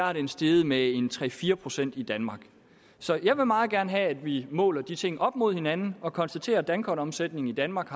er den steget med en tre fire procent i danmark så jeg vil meget gerne have at vi måler de ting op mod hinanden og konstaterer at dankortomsætningen i danmark